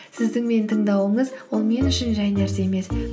сіздің мені тыңдауыңыз ол мен үшін жай нәрсе емес